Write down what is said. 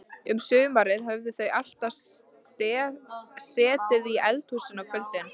Um sumarið höfðu þau alltaf setið í eldhúsinu á kvöldin.